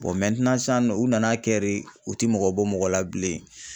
san nɔ u nan'a kɛ de u ti mɔgɔ bɔ mɔgɔ la bilen.